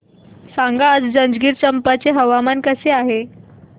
सांगा आज जंजगिरचंपा चे हवामान कसे आहे